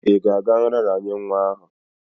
Ị ga-aga nraranye nwa ahụ?